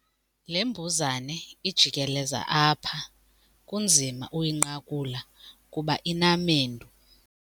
Le mbuzane ijikeleza apha kunzima uyinqakula kuba inamendu.